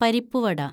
പരിപ്പുവട